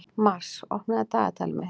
Mars, opnaðu dagatalið mitt.